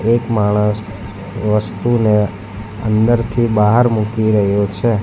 એક માણસ વસ્તુને અંદરથી બહાર મૂકી રહ્યો છે.